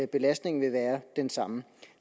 belastningen vil være den samme